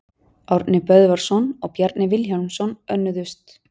Árni Böðvarsson og Bjarni Vilhjálmsson önnuðust.